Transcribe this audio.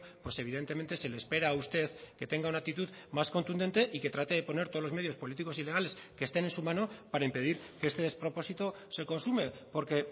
pues evidentemente se le espera a usted que tenga una actitud más contundente y que trate de poner todos los medios políticos y legales que estén en su mano para impedir que este despropósito se consume porque